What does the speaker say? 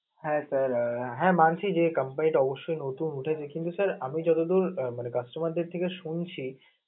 হ্যাঁ, sir হ্যাঁ মানছি যে company টা অবশ্যই নতুন ওটা basically sir আমি যতদূর মানে customer দের থেকে শুনছি